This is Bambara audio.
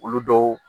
Olu dɔw